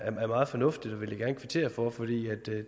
er meget fornuftigt og vil kvittere for for